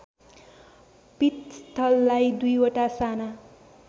पीठस्थललाई दुईवटा साना